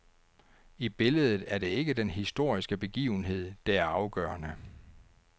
I billedet er det ikke den historiske begivenhed, der er afgørende.